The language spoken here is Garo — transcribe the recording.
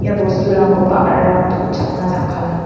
ia bosturangko ba·rarang donchakna jakkala.